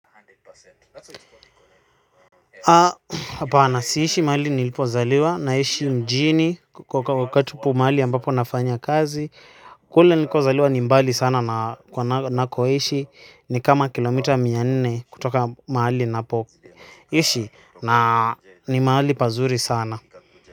Hapana siishi mahali nilipozaliwa naishi mjini mahali ambapo nafanya kazi kule niliko zaliwa ni mbali sana na nakoishi ni kama kilomita mia nne kutoka mahali na poishi na ni mahali pazuri sana.